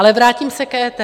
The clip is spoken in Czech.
Ale vrátím se k EET.